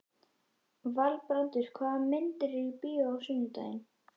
Valbrandur, hvaða myndir eru í bíó á sunnudaginn?